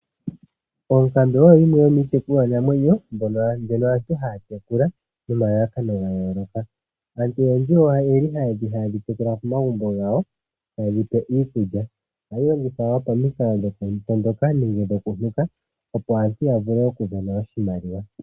Oonkambe oyo yimwe yomiitekulwanamwenyo , mbyono hayi tekulwa kaantu, nomalalakano ga yooloka. Aantu ohaye dhi tekula komagumbo gawo, taye dhi pe iikulya. Ohadhi longithwa wo pamikalo dhokundoka nenge dhokunuka, opo aantu ya vule okumona oshimaliwa.